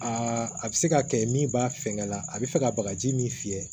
Aa a bɛ se ka kɛ min b'a fɛŋɛ la a bɛ fɛ ka bagaji min fiyɛ